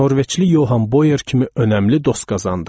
Norveçli Johan Bojer kimi önəmli dost qazandım.